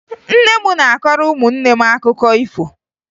Nne m na-akọrọ ụmụnne m akụkọ ifo